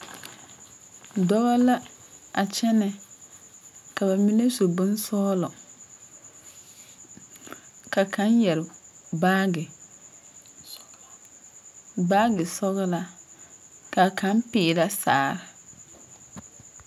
Doɔba la a kyene. Ka ba mene su boŋ sɔglɔ. Ka kang yɛre baagi sɔgla, baagi sɔglaa. Ka kang piirɛ sagre